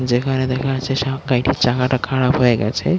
যেখানে দেখা যাচ্ছে শার্ক গাড়িটির চাকাটা খারাপ হয়ে গেছে।